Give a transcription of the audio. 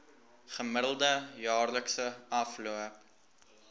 gemiddelde jaarlikse afloop